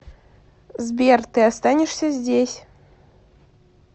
сбер ты останешься здесь